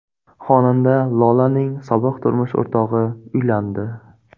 Xonanda Lolaning sobiq turmush o‘rtog‘i uylandi.